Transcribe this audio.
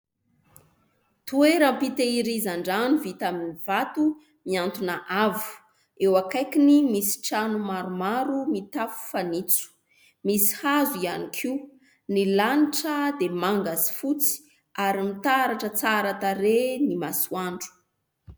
Toeram-pitehirizan-drano vita amin'ny vato, miantona avo ; eo akaikiny misy trano maromaro mitafo fanitso ; misy hazo ihany koa ; ny lanitra dia manga sy fotsy, ary mitaratra tsara tarehy ny masoandro.